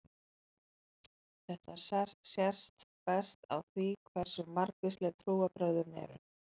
Þetta sést best á því hversu margvísleg trúarbrögðin eru.